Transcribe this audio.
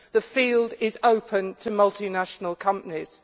The field is open to multinational companies.